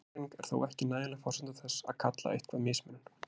Aðgreining er þó ekki nægjanleg forsenda þess að kalla eitthvað mismunun.